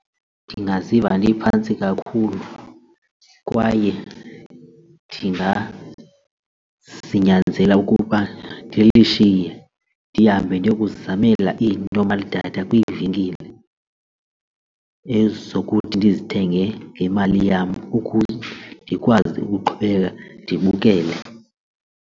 Ndingaziva ndiphantsi kakhulu kwaye ndingazinyanzela ukuba ndilishiye ndihambe ndiyokuzizamela ii-normal datha kwiivenkile ezokuthi ndizithengele ngemali yam ukuze ndikwazi ukuqhubeka ndibukele.